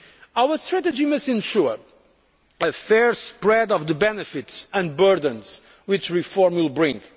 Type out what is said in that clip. Europe. Our strategy must ensure a fair spread of the benefits and burdens which reform will